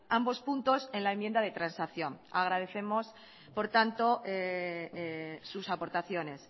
ambos puntos en la enmienda de transacción agradecemos por tanto sus aportaciones